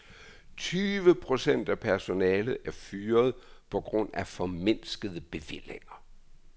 Tyve procent af personalet er fyret på grund af formindskede bevillinger.